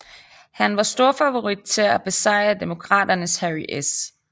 Han var storfavorit til at besejre demokraternes Harry S